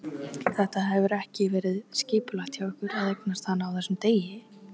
Þetta hefur ekki verið skipulagt hjá ykkur að eignast hana á þessum degi?